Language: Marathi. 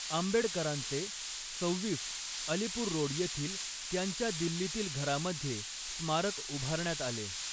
आंबेडकरांचे, सव्हीस, अलीपूर रोड येथील त्यांच्या दिल्लीतील घरामध्ये स्मारक उभारण्यात आले.